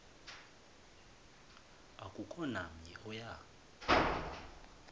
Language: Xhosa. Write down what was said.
akukho namnye oya